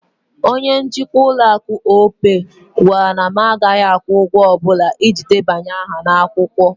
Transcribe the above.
Opay bank manager told that I wouldn't be paying any money to register with them.